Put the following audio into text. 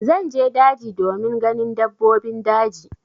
Zan je daji domin ganin dabbobin daji.